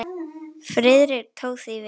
Friðrik tók því vel.